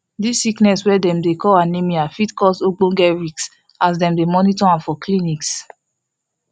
this sickness wey dem dey call anemia fit cause ogboge risk as dem dey monitor am for clinics